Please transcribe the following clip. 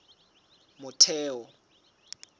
motheo